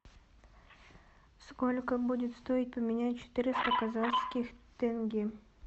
сколько будет стоить поменять четыреста казахских тенге